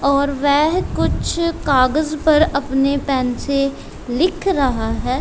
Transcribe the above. और वेहं कुछ कागज पर अपने पेन से लिख रहा है।